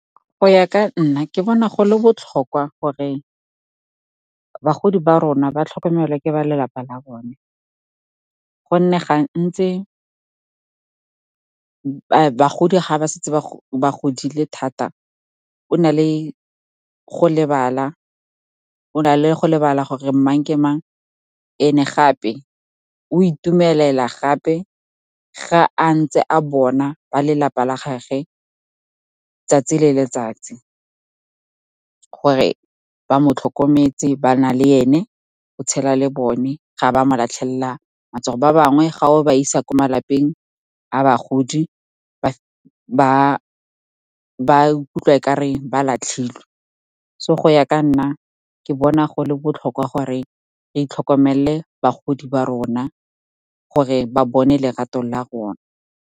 Go ya ka nna, ke bona go le botlhokwa gore bagodi ba rona ba tlhokomelwe ke ba lelapa la bone, gonne gantsi bagodi ga ba setse ba godile thata, o na le go lebala gore mang ke mang. And gape o itumelela gape ga a ntse a bona ba lelapa la gage tsatsi le letsatsi, gore ba mo tlhokometse, ba na le ene, o tshela le bone, ga ba mo latlhelela matsogo. Ba bangwe ga o ba isa ko malapeng a bagodi, ba ikutlwa okare ba latlhilwe. So, go ya ka nna, ke bona go le botlhokwa gore itlhokomelele bagodi ba rona, gore ba bone lerato la rona.